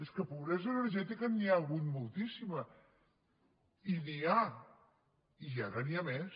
és que de pobresa energètica n’hi ha hagut moltíssima i n’hi ha i ara n’hi ha més